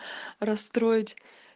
расстроить